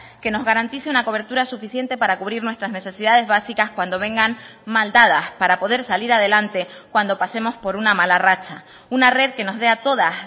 que nos garantice una cobertura suficiente para cubrir nuestras necesidades básicas cuando vengan mal dadas para poder salir adelante cuando pasemos por una mala racha una red que nos dé a todas